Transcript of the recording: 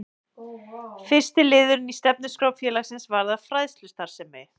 Fyrsti liðurinn í stefnuskrá félagsins varðar fræðslustarfsemi.